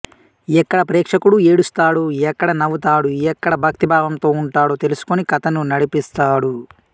ఎక్కడ ప్రేక్షకుడు ఏడుస్తాడు ఎక్కడ నవ్వుతాడు ఎక్కడ భక్తి భావంతో ఉంటాడో తెలుసుకొని కథను నడిపిస్తాడు